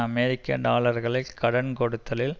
அமெரிக்க டாலர்களை கடன் கொடுத்தலில்